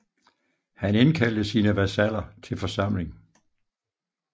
Han indkaldte sine vasaller til en forsamling